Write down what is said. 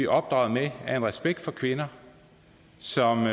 opdraget med er en respekt for kvinder som